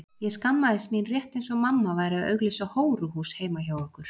Ég skammaðist mín rétt eins og mamma væri að auglýsa hóruhús heima hjá okkur.